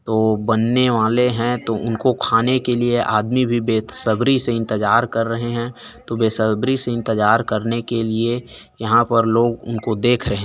तो बनने वाले है तो उनको खाने के लिये आदमी भी बेसब्री से इंतजार कर रहे है तो बेसब्री से इंतजार करने के लिए यहाँ पर लोगो उनको देख रहे--